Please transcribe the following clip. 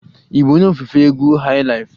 Ị bụ onye ofufe egwu highlife?